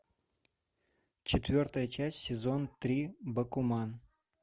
четвертая часть сезон три бакуман